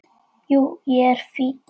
Jú, ég er fínn.